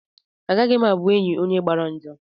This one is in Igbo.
Agaghị m abụ enyị onye gbara njọ.